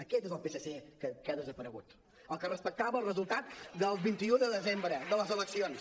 aquest és el psc que ha desaparegut el que respectava el resultat del vint un de desembre de les eleccions